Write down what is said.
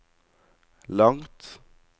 langt